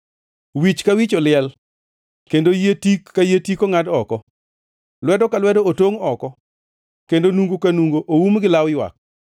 Wich ka wich oliel kendo yie tik ka yie tik ongʼad oko; lwedo ka lwedo otongʼ oko kendo nungo ka nungo oum gi law ywak.